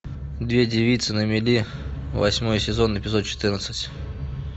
две девицы на мели восьмой сезон эпизод четырнадцать